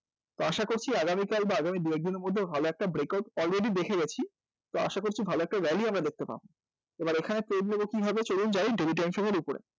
তো আশা করছি আগামী কাল বা আগামী দু একদিনের মধ্যে ভালো একটা breakout already দেখে গেছি তো আশা করছি ভালো একটা rally আমরা কিন্তু দেখতে পাবো তো এবার এখানে নেব কীভাবে তো চলুন যাই daily time frame এর উপরে